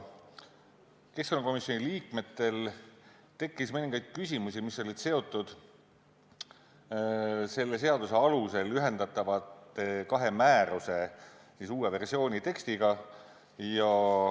Keskkonnakomisjoni liikmetel tekkis mõningaid küsimusi, mis olid seotud selle seaduse alusel ühendatava kahe määruse uue versiooni tekstiga.